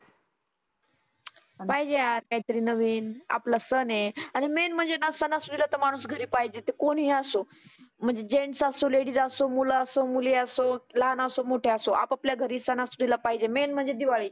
पाहिजे आत काही तरी नविन आपला सण आहे. आणि मेन म्हणजे ना सणा सुदीला माणुस घरी पाहिजे ते कोणी असो. म्हणजे जेन्टस असो, लेडीज असो, मुलं असो, मुली असोत, लहाण असो, मोठे असो आपआपल्या घरी सणा सुदीला पाहीजे मेन म्हणजे दिवाळी.